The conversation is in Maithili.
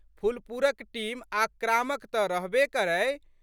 पुलपुरक टीम आक्रामक तऽ रहबे करै।